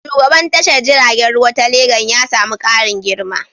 Shugaban tashar jiragen ruwa ta Legan ya sami ƙarin girma.